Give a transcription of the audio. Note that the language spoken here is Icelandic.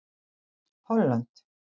Holland